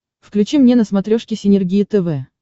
включи мне на смотрешке синергия тв